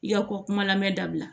I ka ko kuma lamɛn dabila